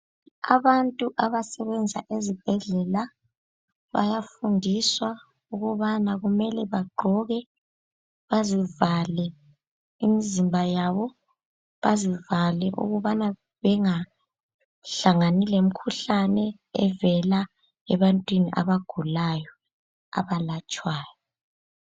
Abantu abasebenza ezibhedlela bayafundiswa ukubana kumele bagqoke bazivale imizimba yabo ,bazivale ukubana bengahlangani lemikhuhlane evela ebantwini abagulayo abalatshwayo